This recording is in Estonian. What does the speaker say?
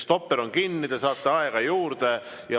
Stopper on kinni, te saate aega juurde.